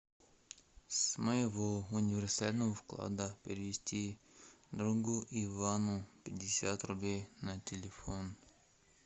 с моего универсального вклада перевести другу ивану пятьдесят рублей на телефон